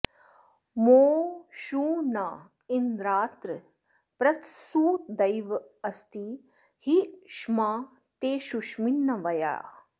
मो षू ण इन्द्रात्र पृत्सु देवैरस्ति हि ष्मा ते शुष्मिन्नवयाः